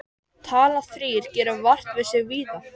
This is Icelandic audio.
Talan þrír gerir vart við sig víða.